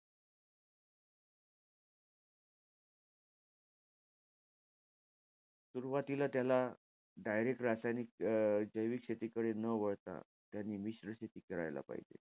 सुरवातीला त्याला, direct रासायनिक ज~ अं जैविक शेतीकडे न वळता त्यांनी मिश्र शेती करायला पाहिजे.